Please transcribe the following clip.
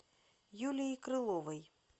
юлией крыловой